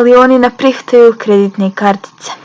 ali oni ne prihvataju kreditne kartice